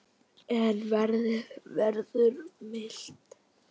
En veðrið verður milt.